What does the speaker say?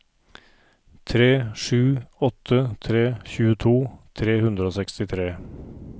tre sju åtte tre tjueto tre hundre og sekstitre